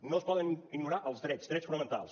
no es poden ignorar els drets drets fonamentals